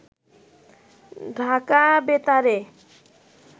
ঢাকা বেতারে